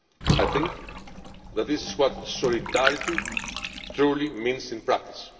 I think that this is what solidarity truly means in practice.